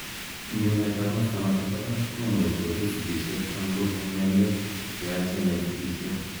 Ngemet ap masta notok pa parak ko much kopet sigishet anan kokon mionwek che yachen ing sigishet.